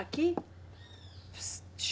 Aqui?